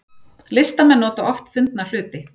Listamenn nota oft fundna hluti